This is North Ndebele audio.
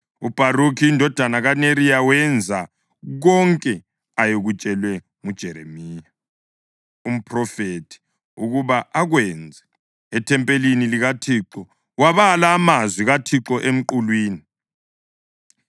UBharukhi indodana kaNeriya wenza konke ayekutshelwe nguJeremiya umphrofethi ukuba akwenze; ethempelini likaThixo wabala amazwi kaThixo emqulwini.